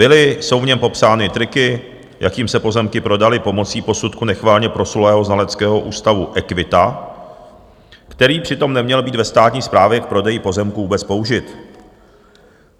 Byly, jsou v něm popsány triky, jakým se pozemky prodaly pomocí posudku nechvalně proslulého znaleckého ústavu Equita, který přitom neměl být ve státní správě k prodeji pozemků vůbec použit.